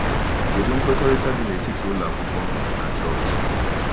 Kedụ nkwekọrịta dị n’etiti ụlọ akwụkwọ na Chọọchị?